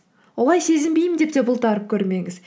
олай сезінбеймін деп те бұлтарып көрмеңіз